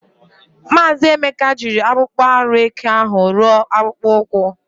Maazi Emeka jiri akpokpo aru eke ahu ruo akpokpo ukwu.